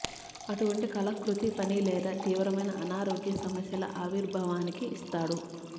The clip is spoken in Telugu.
అటువంటి కల కృతి పని లేదా తీవ్రమైన అనారోగ్య సమస్యల ఆవిర్భావానికి ఇస్తాడు